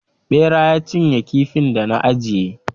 Ɓera ya cinye kifin da na ajiye